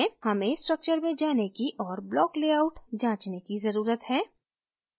हमें structure में जाने की और block layout जाँचने की ज़रुरत है